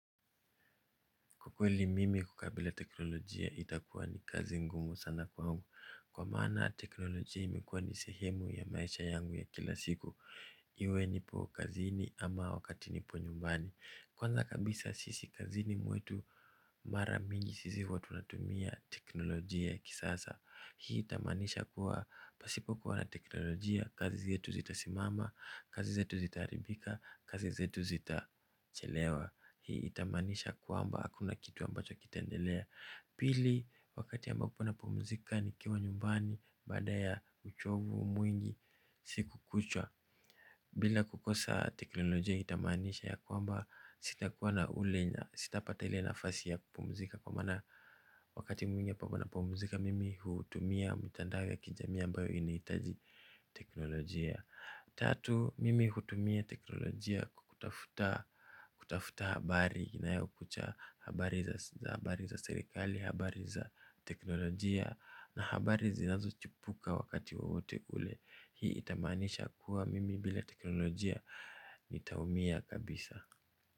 Kwa kweli mimi kukabila teknolojia itakuwa ni kazi ngumu sana kwangu. Kwa maana teknolojia imekuwa ni sehemu ya maisha yangu ya kila siku. Iwe nipo kazini ama wakati nipo nyumbani. Kwanza kabisa sisi kazini mwetu mara mingi sisi huwa tunatumia teknolojia ya kisasa. Hii itamaanisha kuwa pasipo kuwa na teknolojia kazi zetu zitasimama. Kazi zetu zitaaribika, kazi zetu zitachelewa. Hii itamanisha kwamba hakuna kitu ambacho kitaendelea. Pili, wakati ambapo napumzika nikiwa nyumbani baada ya uchovu mwingi siku kuchwa bila kukosa teknolojia itamaanisha ya kwamba sitakuwa na ule na sitapata ile nafasi ya kupumzika. Kwa maana wakati mwingi napumzika mimi hutumia mitandao ya kijamii ambayo inahitaji Teknolojia. Tatu, mimi hutumia teknolojia Kutafuta Kutafuta habari inayokucha habari za serikali, habari za teknolojia na habari zinazochipuka wakati wowote ule. Hii itamaanisha kuwa mimi bila teknolojia nitaumia kabisa.